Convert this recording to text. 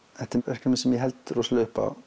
þetta er verkefni sem ég held rosalega upp á